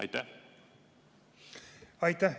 Aitäh!